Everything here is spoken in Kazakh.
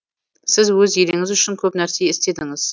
сіз өз еліңіз үшін көп нәрсе істедіңіз